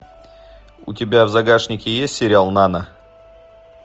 у тебя в загашнике есть сериал нана